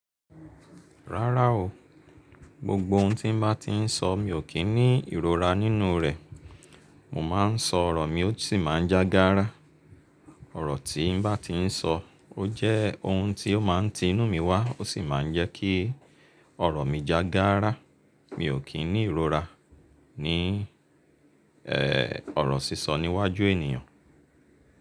Rárá o, gbogbo ohun tí n bá ti ń sọ mi ò kí ń ní ìrora nínú rẹ̀. Mo máa ń sọ ọ̀rọ̀ mi ó sì máa ń já gárá. Ọ̀rọ̀ tí n bá ti ń sọ, ó jẹ́ ohun tí ó máa ń ti inú mi wá ó sì máa ń jẹ́ kí ọ̀rọ̀ mi já gárá. Mi ò kí ń ní ìrora ní, ọ̀rọ̀ sísọ níwájú ènìyàn.